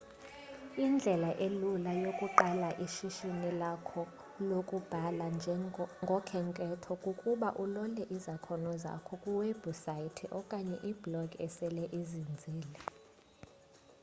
indlela elula yokuqala ishishini lakho lokubhala ngokhenketho kukuba ulole izakhono zakho kwi webhusaythi okanye iblog esele izinzile